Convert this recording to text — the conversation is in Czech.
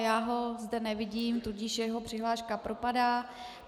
Já ho zde nevidím, tudíž jeho přihláška propadá.